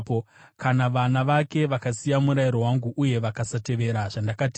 “Kana vana vake vakasiya murayiro wangu, uye vakasatevera zvandakatema,